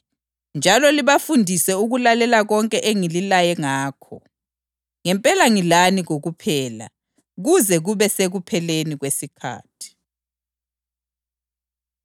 njalo libafundise ukulalela konke engililaye ngakho. Ngempela ngilani kokuphela, kuze kube sekupheleni kwesikhathi.”